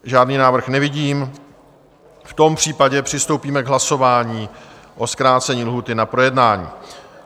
Žádný návrh nevidím, v tom případě přistoupíme k hlasování o zkrácení lhůty na projednání.